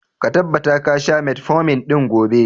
Ka tabbata ga sha metformin ɗin gobe!